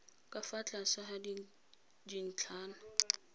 ka fa tlase ga dintlhana